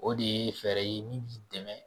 O de ye fɛɛrɛ ye min b'i dɛmɛ